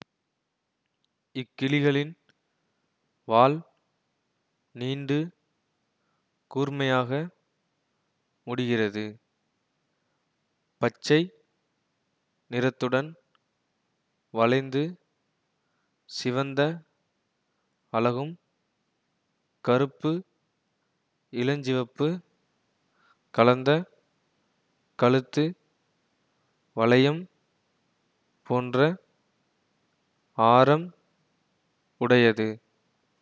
இக்கிளிகளின் வால் நீண்டு கூர்மையாக முடிகிறது பச்சை நிறத்துடன் வளைந்து சிவந்த அலகும் கருப்பு இளஞ்சிவப்பு கலந்த கழுத்து வளையம் போன்ற ஆரம் உடையது